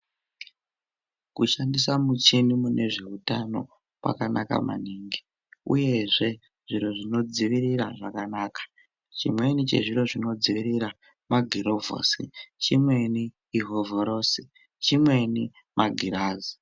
Kushandisa mucheni mune zveutano kwakanaka maningi uyezve zviro zvino dzivirira zvakanaka chimweni chezviro zvino dzivirira magirovhosi chimweni ihovhorosi chimweni magirazi.